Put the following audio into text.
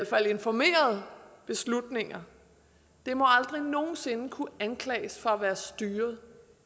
fald informerede beslutninger må aldrig nogen sinde kunne anklages for at være